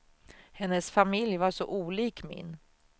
Hennes familj var så olik min.